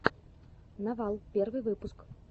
новал первый выпуск